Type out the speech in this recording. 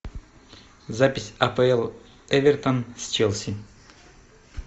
запись апл эвертон с челси